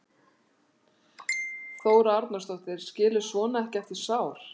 Þóra Arnórsdóttir: Skilur svona ekki eftir sár?